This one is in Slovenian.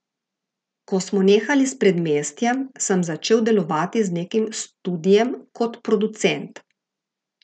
Ko smo nehali s Predmestjem, sem začel delovati z nekim studiem kot producent.